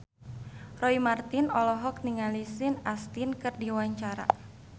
Roy Marten olohok ningali Sean Astin keur diwawancara